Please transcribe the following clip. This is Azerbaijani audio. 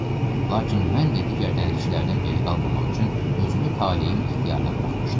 Lakin mən də digər dənizçilərdən geri qalmamaq üçün özümü talehin ixtiyarına buraxmışdım.